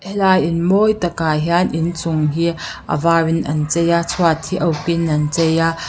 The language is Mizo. a in mawi takah hian inchung hi a var in an chei a chhuat hi a uk in an chei a.